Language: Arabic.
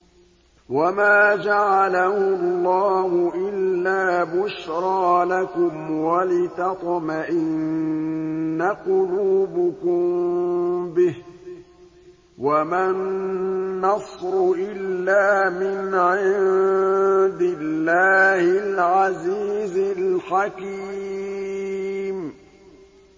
وَمَا جَعَلَهُ اللَّهُ إِلَّا بُشْرَىٰ لَكُمْ وَلِتَطْمَئِنَّ قُلُوبُكُم بِهِ ۗ وَمَا النَّصْرُ إِلَّا مِنْ عِندِ اللَّهِ الْعَزِيزِ الْحَكِيمِ